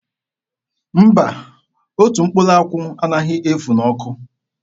Mba, otu mkpụrụ akwụ anaghị efu n'ọkụ.